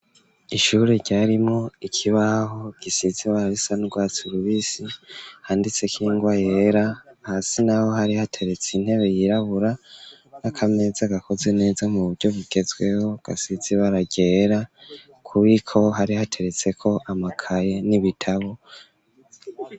Ishure, ryarimwo ikibaho, gisize ibara risa n'urwatsi rubisi, handitseko ingwa yera; hasi naho, hari hateretse, intebe yirabura, n'akameza, gakozwe neza, mu buryo bugezweho, gasize ibara ryera, ku bubiko, hari hateretseko, amakaye n'ibitabo.